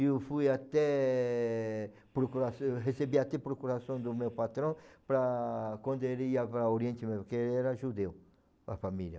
E eu fui até procurar, eu recebi até procuração do meu patrão para quando ele ia para Oriente Médio, porque era judeu, a família.